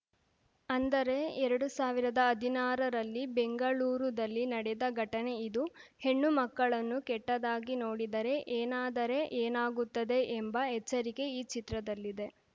ಅಂದರೆ ಎರಡು ಸಾವಿರದ ಹದಿನಾರರಲ್ಲಿ ಬೆಂಗಳೂರುದಲ್ಲಿ ನಡೆದ ಘಟನೆ ಇದು ಹೆಣ್ಣು ಮಕ್ಕಳನ್ನು ಕೆಟ್ಟದಾಗಿ ನೋಡಿದರೆ ಏನಾದರೆ ಏನಾಗುತ್ತದೆ ಎಂಬ ಎಚ್ಚರಿಕೆ ಈ ಚಿತ್ರದಲ್ಲಿದೆ